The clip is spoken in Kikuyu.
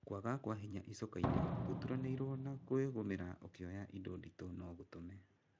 Kwaga kwa hinya icokainĩ gũtũranĩiro na kwĩgũmĩra ta ũkĩoya indo nditũ no ngũtũme.